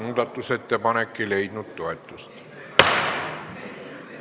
Muudatusettepanek ei leidnud toetust.